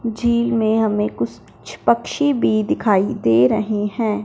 झील में हमें कुछ पक्षी भी दिखाई दे रहे हैं।